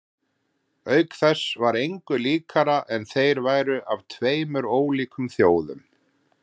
Auk þess var engu líkara en þeir væru af tveim ólíkum þjóðum.